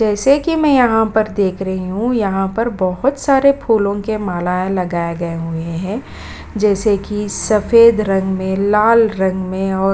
जैसे कि मैं यहाँ पर देख रही हूँ यहाँ पर बहुत सारे फूलों के माला लगाए गए हुए हैं जैसे कि सफेद रंग में लाल रंग में और --